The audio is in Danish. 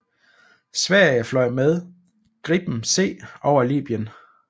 Sverige fløj med Gripen C over Libyen